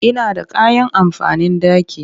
Ina da kayan amfanin banɗaki